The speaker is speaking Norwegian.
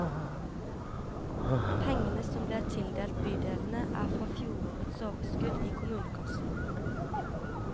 Pengene som ble tildelt bydelene er fra fjorårets overskudd i kommunekassen.